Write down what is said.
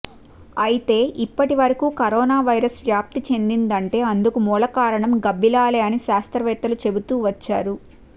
అయితే ఇప్పటివరకు కరోనావైరస్ వ్యాప్తి చెందిదంటే అందుకు మూలకారణం గబ్బిలాలే అని శాస్త్రవేత్తలు చెబుతూ వచ్చారు